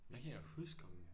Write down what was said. Men jeg kan ikke engang huske om